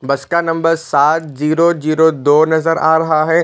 बस का नंबर सात जीरो जीरो दो नज़र आ रहा हैं।